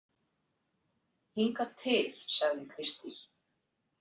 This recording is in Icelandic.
Hingað til, sagði Kristín.